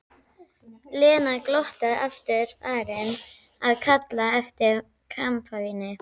Lena glottandi aftur farin að kalla eftir kampavíni.